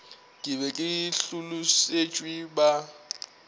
ke be ke hlolosetšwe ba